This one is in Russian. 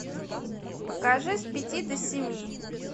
покажи с пяти до семи